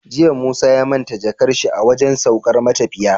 Jiya musa ya manta jakar shi a wajan saukar matafiya